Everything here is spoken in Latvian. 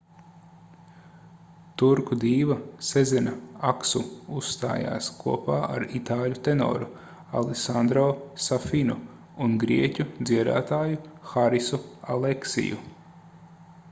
turku dīva sezena aksu uzstājās kopā ar itāļu tenoru alesandro safinu un grieķu dziedātāju harisu aleksiu